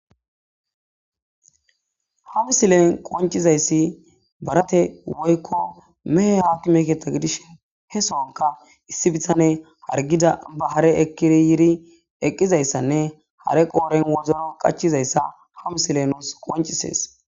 ha misilen qoncizayssi barate woykko mehe haakki meketa gidish he soonka issi bihane hargida ba hare ekiri yiri eqqizayssanne hare qooren wozolo qachizayssa ha misile nuus qoncisees